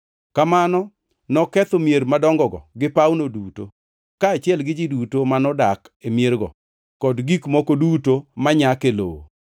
Kamano noketho mier madongogo gi pawno duto, kaachiel gi ji duto manodak e miergo kod gik moko duto manyak e lowo.